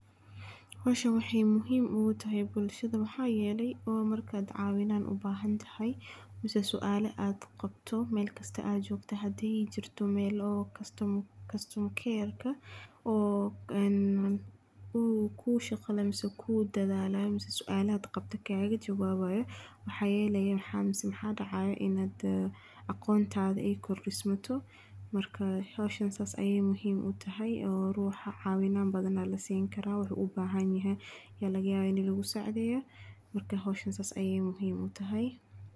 Howshan waxeey muhiim utahay bulshada, narkaad cawinaad ubahan tahay ama suala aad qabto, sualaha ayeey kaaga jawabayaan, ruuxa cawinaad badan ayaa lasiini karaa.